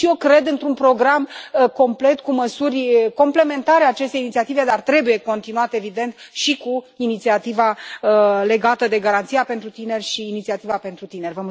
Și eu cred într un program complet, cu măsuri complementare acestei inițiative, dar trebuie continuat, evident, și cu inițiativa legată de Garanția pentru tineret și Inițiativa pentru tineri.